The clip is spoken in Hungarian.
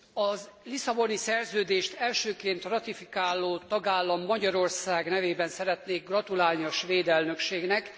A Lisszaboni Szerződést elsőként ratifikáló tagállam, Magyarország nevében szeretnék gratulálni a svéd elnökségnek.